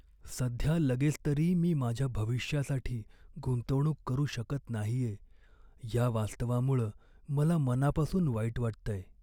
सध्या लगेच तरी मी माझ्या भविष्यासाठी गुंतवणूक करू शकत नाहीये या वास्तवामुळं मला मनापासून वाईट वाटतंय.